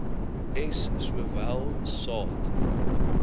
s sowel saad